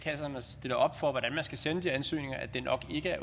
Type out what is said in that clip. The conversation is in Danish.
ansøgninger